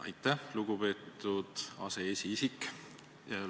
Aitäh, lugupeetud aseesiisik!